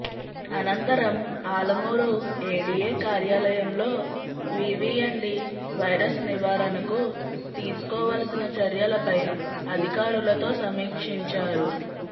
అనంతరం ఆలమూరు ఏడీఏ కార్యాలయంలో వీవీఎన్డీ వైరస్ నివారణకు తీసుకోవలసిన చర్యలపై అధికారులతో సమీక్షించారు